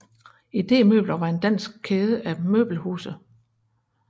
IDEmøbler var en dansk kæde af møbelhuse